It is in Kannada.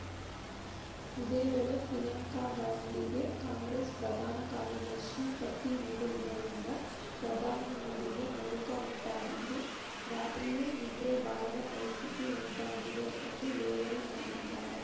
ಇದೇವೇಳೆ ಪ್ರಿಯಾಂಕಾ ಗಾಂಧಿಗೆ ಕಾಂಗ್ರೆಸ್‌ ಪ್ರಧಾನ ಕಾರ್ಯದರ್ಶಿ ಪಟ್ಟನೀಡಿರುವುದರಿಂದ ಪ್ರಧಾನಿ ಮೋದಿಗೆ ನಡುಕ ಉಂಟಾಗಿದ್ದು ರಾತ್ರಿಯೂ ನಿದ್ರೆ ಬಾರದ ಪರಿಸ್ಥಿತಿ ಉಂಟಾಗಿದೆ ಎಂದು ಲೇವಡಿ ಮಾಡಿದ್ದಾರೆ